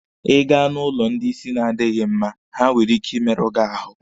Ị gaa n'ụlọ ndị isi na-adịghi mma, ha nwere ike ị merụ gị ahụ.